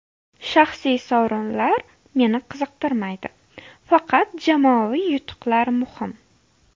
Shaxsiy sovrinlar meni qiziqtirmaydi, faqat jamoaviy yutuqlar muhim.